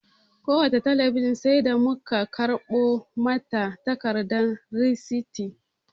Kowace talabijin sai da mu ka karɓo mata takardar risiti